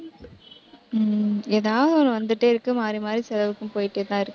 உம் ஏதாவது ஒண்ணு வந்துட்டே இருக்கு மாறி, மாறி செலவுக்கும் போயிட்டே தான் இருக்கு